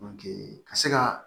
ka se ka